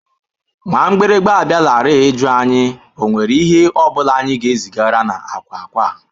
Nwa mgbịrịgba abịalarị ịjụ anyị nwere ihe ọ bụla anyị ga-ezigara na akwa akwa.